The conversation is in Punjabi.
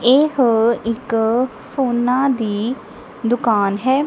ਇਹ ਇੱਕ ਫੋਨਾਂ ਦੀ ਦੁਕਾਨ ਹੈ।